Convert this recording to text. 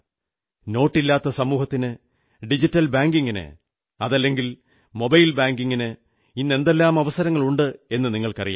നോട്ടില്ലാത്ത സമൂഹത്തിന് ഡിജിറ്റൽ ബാങ്കിംഗിന് അതല്ലെങ്കിൽ മൊബൈൽ ബാങ്കിംഗിന് ഇന്ന് എന്തെല്ലാം അവസരങ്ങളുണ്ടെന്നു നിങ്ങൾക്കറിയാം